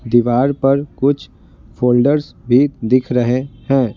दीवार पर कुछ फोल्डर्स भी दिख रहे हैं।